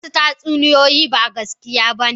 Wasu tatsuniyoyi ba gaskiya ba ne.